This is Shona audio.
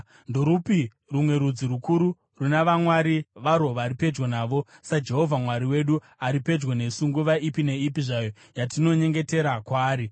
Ndorupi rumwe rudzi rukuru runa vamwari varwo vari pedyo navo saJehovha Mwari wedu ari pedyo nesu nguva ipi neipi zvayo yatinonyengetera kwaari?